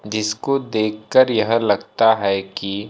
जिसको देखकर यह लगता है कि--